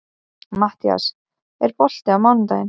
Mattías, er bolti á miðvikudaginn?